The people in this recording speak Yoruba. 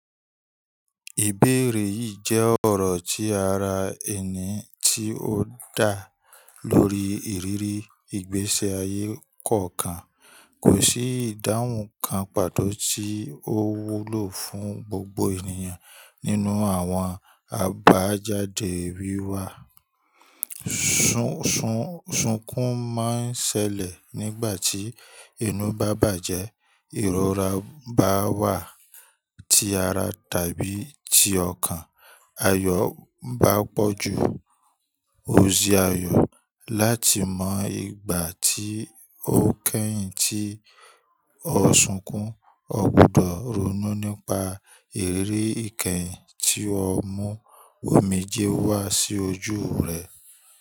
Ìbéèrè yìí jẹ́ ọ̀rọ̀ tí ara ẹni tí ó dá lórí ìrírí ìgbésí ayé kọ̀ọ̀kan. Kò sí ìdáhùn kan pàtó tí ó wúlò fún gbogbo ènìyàn nínú àwọn àbájáde wí wa. Sún-sún-sunkún máa ń ṣẹlẹ̀ nígbà tí inú bá bàjẹ́, ìrora bá wà tí ara tàbí ti ọkàn, ayọ́ bá pọ̀ ju oṣi ayọ́, láti mọ ìgbà tí ó kẹ́yìn tí o sunkún, o gbúdọ̀ ronú nípa ìrírí ìkẹ́yìn tí ó mú omijé wá sí ojú rẹ.